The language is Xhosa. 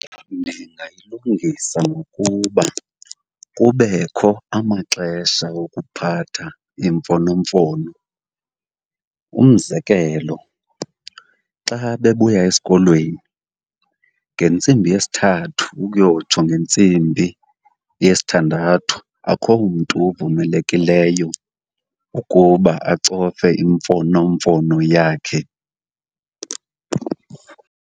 Ndingayilungisa ngokuba kubekho amaxesha okuphatha imfonomfono. Umzekelo xa bebuya esikolweni, ngentsimbi yesithathu ukuyotsho ngentsimbi yesithandathu, akho mntu uvumelekileyo ukuba acofe imfonomfono yakhe.